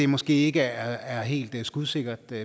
måske ikke er helt skudsikkert vi